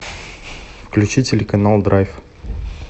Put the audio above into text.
включи телеканал драйв